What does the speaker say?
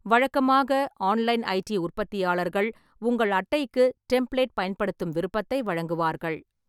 வழக்கமாக, online ID உற்பத்தியாளர்கள் உங்கள் அட்டைக்கு டெம்ப்ளேட் பயன்படுத்தும் விருப்பத்தை வழங்குவார்கள்.